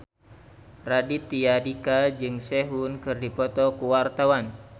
Raditya Dika jeung Sehun keur dipoto ku wartawan